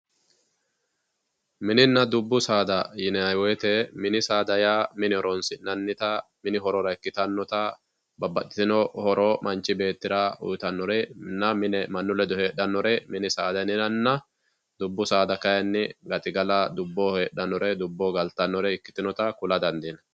mininna dubbu saada yinayiwoyiite minisaada yaa mine horonsi'nanita mini horora ikkitannota babbaxitino horo manch beettira uyiitannorenna mine mannu ledo heexxannore mini saada yinana dubbu saada kayiinni gaxigala dubboho heexxannore dubboho galtannore ikkitinota kula dandiinay.